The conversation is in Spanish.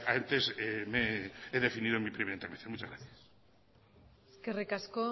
antes he definido en mi primera intervención muchas gracias eskerrik asko